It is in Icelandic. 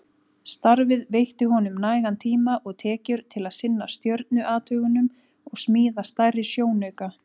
Starfið veitti honum nægan tíma og tekjur til að sinna stjörnuathugunum og smíða stærri sjónauka.